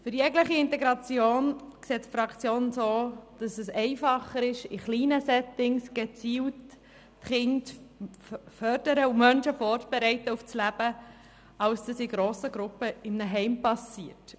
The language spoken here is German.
Für jegliche Integration sieht es die Fraktion so, dass es einfacher ist, in kleinen Settings gezielt Kinder zu fördern und Menschen auf das Leben vorzubereiten, als wenn das in grossen Gruppen in einem Heim geschieht.